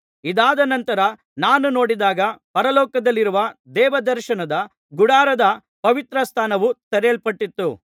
ಇದಾದ ನಂತರ ನಾನು ನೋಡಿದಾಗ ಪರಲೋಕದಲ್ಲಿರುವ ದೇವದರ್ಶನ ಗುಡಾರದ ಪವಿತ್ರ ಸ್ಥಾನವು ತೆರೆಯಲ್ಪಟ್ಟಿತು